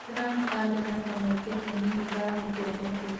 Trump arĩ na kamweke kanini ga gũtua matua.